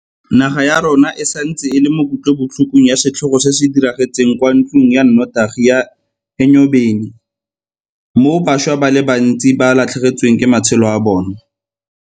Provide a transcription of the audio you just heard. Naga ya rona e santse e le mo kutlobotlhokong ya setlhogo se se diragetseng kwa ntlong ya notagi ya Enyobeni moo bašwa ba le bantsi ba latlhegetsweng ke matshelo a bona.